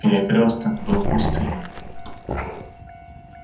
перекрёсток был пустынен